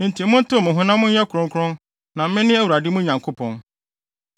“ ‘Enti montew mo ho na monyɛ kronkron na mene Awurade mo Nyankopɔn.